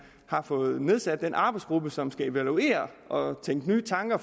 har fået nedsat den arbejdsgruppe som skal evaluere og tænke nye tanker